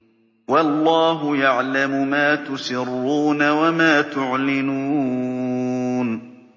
وَاللَّهُ يَعْلَمُ مَا تُسِرُّونَ وَمَا تُعْلِنُونَ